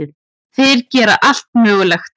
Þeir gera allt mögulegt.